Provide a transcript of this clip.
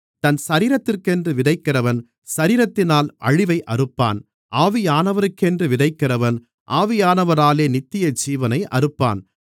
தன் சரீரத்திற்கென்று விதைக்கிறவன் சரீரத்தினால் அழிவை அறுப்பான் ஆவியானவருக்கென்று விதைக்கிறவன் ஆவியானவராலே நித்தியஜீவனை அறுப்பான்